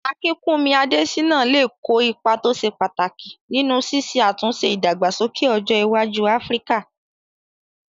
Akinkúnmi Adésínà lè kó ipa tó ṣe pàtàkì nínú ṣíṣe àtúnṣe ìdàgbàsókè ọjọ́ iwájú áfíríkà